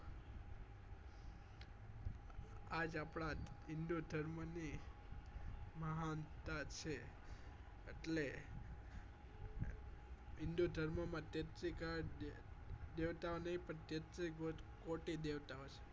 આજ આપડા હિન્દુધર્મ ની મહાનતા છે એટલે હિન્દુધર્મ માં તેત્રી કરોડ દેવતાઓ નહી પણ તેત્રી કોટી દેવતાઓ છે